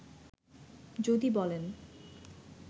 যদি বলেন